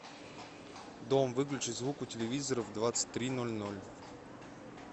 дом выключи звук у телевизора в двадцать три ноль ноль